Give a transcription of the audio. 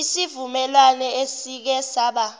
isivumelwano esike saba